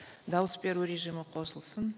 дауыс беру режимі қосылсын